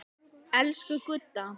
Elsku Gudda.